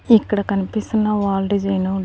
ఇక్కడ కనిపిస్తున్న wall design --